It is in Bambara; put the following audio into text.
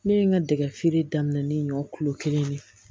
Ne ye n ka dɛgɛ feere daminɛ ne ɲɔ kulo kelen de